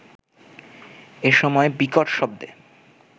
এ সময় বিকট শব্দে